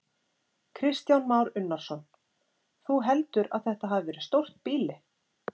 Kristján Már Unnarsson: Þú heldur að þetta hafi verið stórt býli?